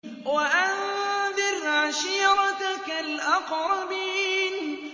وَأَنذِرْ عَشِيرَتَكَ الْأَقْرَبِينَ